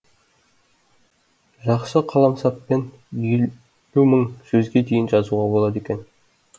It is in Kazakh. жақсы қаламсаппен елу мың сөзге дейін жазуға болады екен